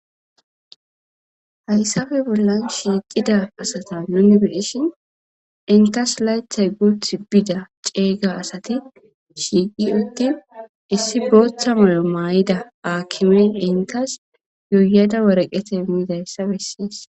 Hayssafe bollan shiiqida asata nuni beishin inkas laythay guth bida ceeyga asati shiiqi uttin issi booththa moyo maay'ida aakimen inkas yuuyada woreqete miidayssa bessees.